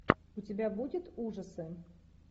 у тебя будет ужасы